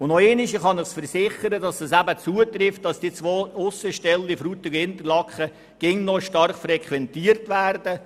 Und noch einmal: Ich kann Ihnen versichern, dass die beiden Aussenstellen Frutigen und Interlaken immer noch stark frequentiert werden.